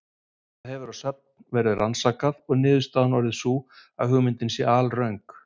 Þetta hefur að sögn verið rannsakað, og niðurstaðan orðið sú að hugmyndin sé alröng.